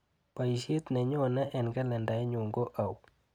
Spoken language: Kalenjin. Baisiet nenyone eng kalendainyu ko auu?